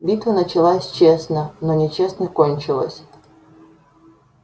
битва началась честно но нечестно кончилась